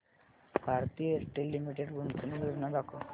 Bharti Airtel Limited गुंतवणूक योजना दाखव